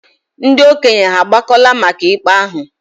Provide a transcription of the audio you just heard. Ndị okenye hà agbakọla maka ikpe ahụ?